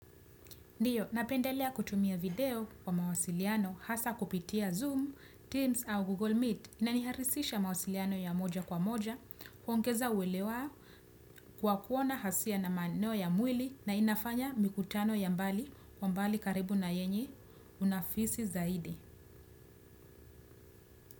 Ndiyo, napendelea kutumia video kwa mawasiliano hasa kupitia Zoom, Teams au Google Meet. Inaniharisisha mawasiliano ya moja kwa moja, kuongeza uwelewa kwa kuona hasia na maeneo ya mwili na inafanya mikutano ya mbali kwa mbali karibu na yenye unafisi zaidi.